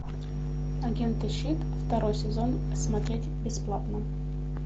агенты щит второй сезон смотреть бесплатно